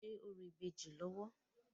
Wọ́n ń ṣe orò ìbejì lọ́wọ́.